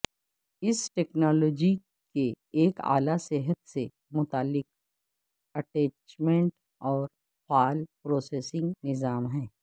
اس technology کے ایک اعلی صحت سے متعلق اٹیچمنٹ اور فعال پروسیسنگ نظام ہے